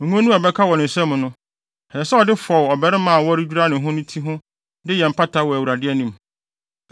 Ngo no a ɛbɛka wɔ ne nsam no, ɛsɛ sɛ ɔde fɔw ɔbarima a wɔredwira no no ti ho de yɛ mpata wɔ Awurade anim.